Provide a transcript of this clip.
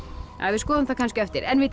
við skoðum þetta kannski á eftir en vitið